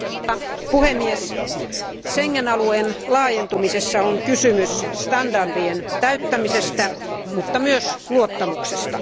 Arvoisa puhemies, Schengen alueen laajentumisessa on kysymys standardien täyttämisestä mutta myös luottamuksesta.